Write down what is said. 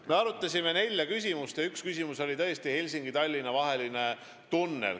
Me arutasime nelja küsimust ja üks küsimus oli tõesti Helsingi–Tallinna vaheline tunnel.